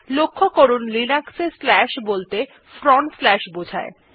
লক্ষ্য করুন লিনাক্স এ slash বলতে ফ্রন্ট স্লাশ বোঝায়